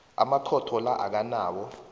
amakhotho la akanawo